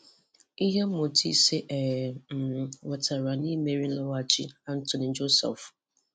Ìhè mmụ́tà ísè ē um nwètàrà n’ímẹ̀rí̀ nlọ́ghàchí Anthony Joshua.